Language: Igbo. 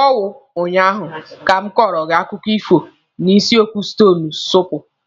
ọ wụ ụnyaahụ ka m kọrọ gị akụkọ ifo n'isiokwu stonu suupu?